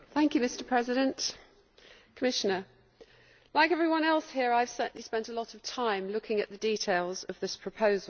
Mr President, like everyone else here, I have certainly spent a lot of time looking at the details of this proposal.